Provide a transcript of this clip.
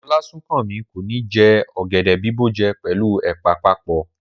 Olasunkanmi ko ni jẹ ọ̀gẹ̀dẹ̀ bìbó jẹ pẹlu ẹ̀pà papọ.